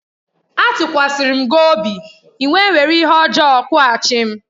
Atukwasirim gi obi, I wé were ihe ojo kwughachim.